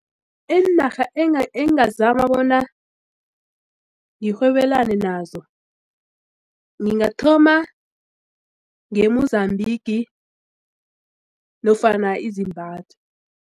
Iinarha engazama bona ngirhwebelane nazo ngingathoma nge-Mozambique nofana i-Zimbabwe.